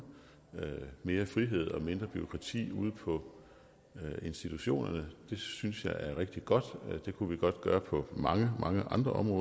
mere frihed og mindre bureaukrati ude på institutionerne det synes jeg er rigtig godt og det kunne vi godt gøre på mange mange andre områder